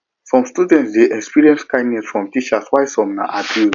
some students de experience kindness from teachers while some na abuse